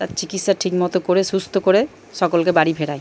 তার চিকিৎসা ঠিক মতো করে সুস্থ্য করে সকলকে বাড়ি ফেরায়।